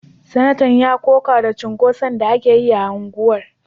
Sanatan ya koka da cunkoson da ake yi a unguwar